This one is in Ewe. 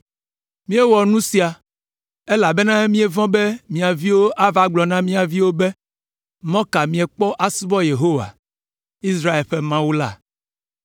Míewɔ nu sia, elabena míevɔ̃ be mia viwo agblɔ na mía viwo be, ‘Mɔ ka miekpɔ asubɔ Yehowa, Israel ƒe Mawu la?